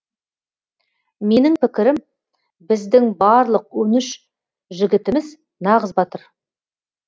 менің пікірім біздің барлық он үш жігітіміз нағыз батыр